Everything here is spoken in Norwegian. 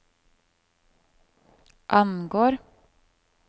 angår